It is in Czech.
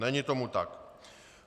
Není tomu tak.